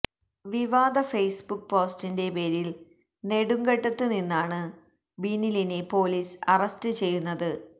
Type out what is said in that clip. വിവാദ ഫെയ്സ്ബുക്ക് പോസ്റ്റിന്റെ പേരില് നെടുങ്കണ്ടത്ത് നിന്നാണ് ബിനിലിനെ പോലീസ് അറസ്റ്റ് ചെയ്യുന്നത്